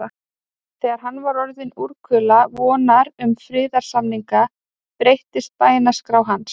Þegar hann var orðinn úrkula vonar um friðarsamninga, breyttist bænaskrá hans.